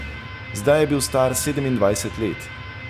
Zdaj je bil star sedemindvajset let.